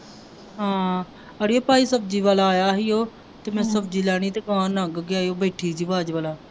ਹਾਂ ਅੜੀਏ ਭਾਈ ਸਬਜ਼ੀ ਵਾਲਾ ਆਇਆ ਸੀ ਉਹ ਤੇ ਮੈਂ ਸਬਜ਼ੀ ਲੈਣੀ ਤੇ ਅਗਾਂਹ ਲੰਘ ਗਿਆ ਉਹ ਬੈਠੀ ਸੀ